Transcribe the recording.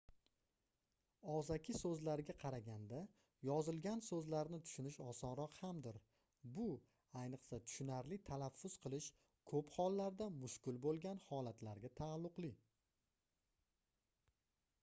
ogʻzaki soʻzlarga qaraganda yozilgan soʻzlarni tushunish osonroq hamdir bu ayniqsa tushunarli talaffuz qilish koʻp hollarda mushkul boʻlgan holatlarga taalluqli